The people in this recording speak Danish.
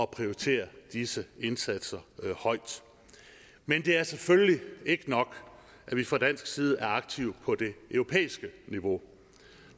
prioritere disse indsatser højt men det er selvfølgelig ikke nok at vi fra dansk side er aktive på det europæiske niveau